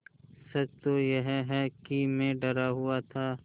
सच तो यह है कि मैं डरा हुआ था